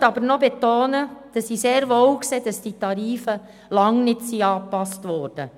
Ich möchte aber noch betonen, dass ich sehr wohl sehe, dass die Tarife lange nicht angepasst wurden.